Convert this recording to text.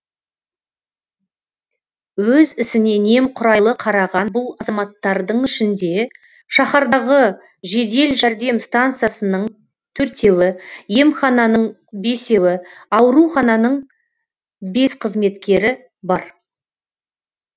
өз ісіне немқұрайлы қараған бұл азаматтардың ішінде шаһардағы жедел жәрдем стансасының төртеуі емхананың бесеуі аурухананың бес қызметкері бар